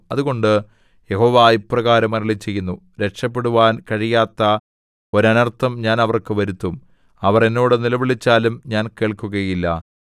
അതുകൊണ്ട് യഹോവ ഇപ്രകാരം അരുളിച്ചെയ്യുന്നു രക്ഷപെടുവാൻ കഴിയാത്ത ഒരനർത്ഥം ഞാൻ അവർക്ക് വരുത്തും അവർ എന്നോട് നിലവിളിച്ചാലും ഞാൻ കേൾക്കുകയില്ല